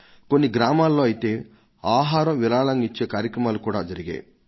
కొన్ని గ్రామాల్లో అయితే ఆహారం విరాళంగా ఇచ్చే కార్యక్రమాలు కూడా జరిగాయి